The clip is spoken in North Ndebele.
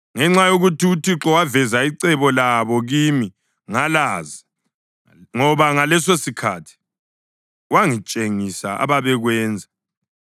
Ngenxa yokuthi uThixo waveza icebo labo kimi, ngalazi, ngoba ngalesosikhathi wangitshengisa ababekwenza.